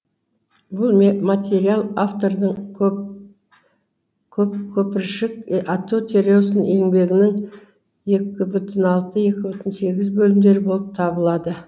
бұл материал автордың көпіршік ату теориясы еңбегінің екі бүтін алты екі бүтін сегіз бөлімдері болып табылады